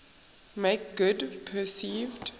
make good perceived